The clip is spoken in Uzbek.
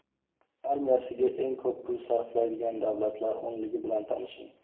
Armiyasiga eng ko‘p pul sarflaydigan davlatlar o‘nligi bilan tanishing.